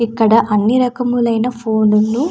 ఇక్కడ అన్ని రకములైన ఫోన్లు --